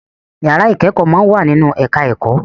Ìyára ìkẹ́kọ̀ọ́ máa ń wà nínú ẹ̀ká ẹ̀kọ́